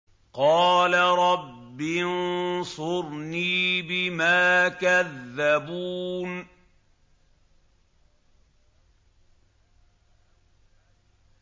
قَالَ رَبِّ انصُرْنِي بِمَا كَذَّبُونِ